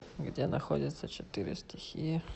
где находится четыре стихии